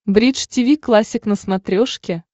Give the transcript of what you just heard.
бридж тиви классик на смотрешке